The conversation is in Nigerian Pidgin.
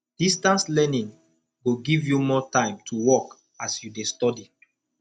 distance learning go give you more time to work as you dey study